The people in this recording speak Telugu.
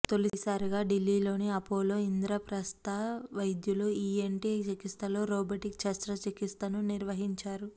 తొలిసారిగా ఢిల్లీలోని అపోలో ఇంద్రప్రస్థ వైద్యులు ఈఎన్టీ చికిత్సలో రోబోటిక్ శస్త్రచిక్సితను నిర్వహించారు